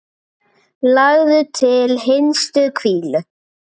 Lagður til hinstu hvílu?